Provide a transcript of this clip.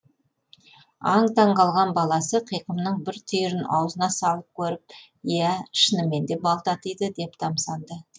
аң таң қалған баласы қиқымның бір түйірін аузына салып көріп иә шынымен де бал татиды деп тамсанды